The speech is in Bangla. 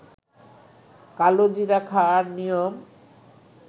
কালোজিরা খাওয়ার নিয়ম